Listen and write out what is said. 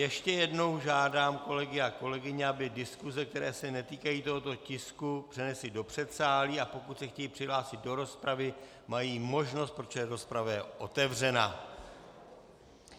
Ještě jednou žádám kolegy a kolegyně, aby diskuse, které se netýkají tohoto tisku, přenesli do předsálí, a pokud se chtějí přihlásit do rozpravy, mají možnost, protože rozprava je otevřena.